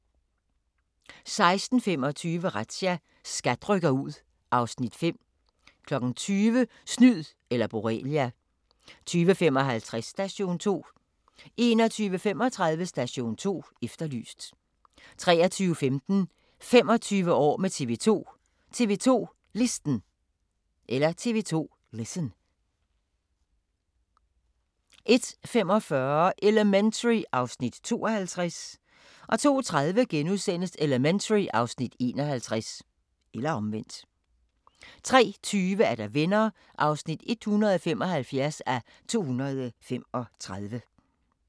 16:25: Razzia – SKAT rykker ud (Afs. 5) 20:00: Snyd eller Borrelia 20:55: Station 2 21:35: Station 2 Efterlyst 23:15: 25 år med TV 2: TV 2 Listen 01:45: Elementary (Afs. 52) 02:30: Elementary (Afs. 51)* 03:20: Venner (175:235)